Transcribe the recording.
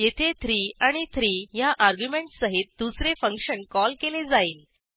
येथे 3 आणि 3 ह्या अर्ग्युमेंटस सहित दुसरे फंक्शन कॉल केले जाईल